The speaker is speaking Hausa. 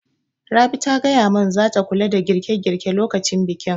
Rabi ta gaya mun zata kula da girƙe girƙe lokacin bikin